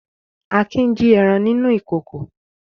Akin jí ẹran nínú ìkòkò.